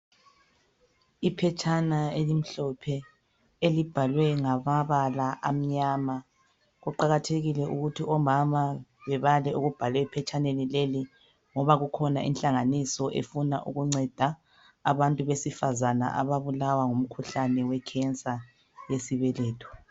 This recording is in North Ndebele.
Iphetshana elimhlophe elibhalwe ngamabala amnyama kuqakathekile ukuthi omama bebale okubhalwe ephetshaneni leli ngoba kukhona ihlanganiso efuna ukunceda abantu besifazana ababulawa ngumkhuhlane wekhensa